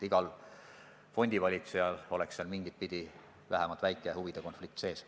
Igal fondivalitsejal oleks seal mingitpidi vähemalt väike huvide konflikt sees.